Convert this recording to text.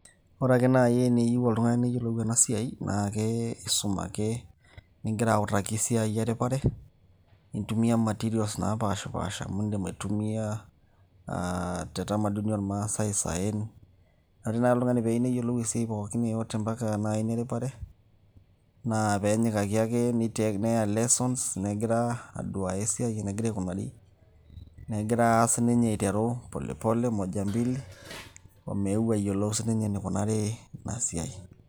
ore ake naaji teneyieu oltung'ani neyiolou ena siai naa keisum ake ningira autaki esiai eripare nintumia materials naapashipasha amu indim aitumia aa te tamaduni ormaasay isaen ore naaji oltung'ani peeyieu neyiolou esiai pookin yeyote mpaka naaji ina eripare naa peenyikaki ake neya lessons negira aduaya esiai enegira aikunari negira siininye aiteru pole pole moja mbili omeu ayiolou siininye enikunari ina siai.